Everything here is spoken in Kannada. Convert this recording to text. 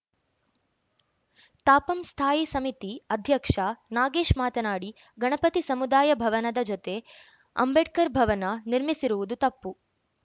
ತಾಪಂ ಸ್ಥಾಯಿ ಸಮಿತಿ ಅಧ್ಯಕ್ಷ ನಾಗೇಶ್‌ ಮಾತನಾಡಿ ಗಣಪತಿ ಸಮುದಾಯ ಭವನದ ಜೊತೆ ಅಂಬೇಡ್ಕರ್‌ ಭವನ ನಿರ್ಮಿಸಿರುವುದು ತಪ್ಪು